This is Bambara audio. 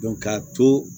k'a to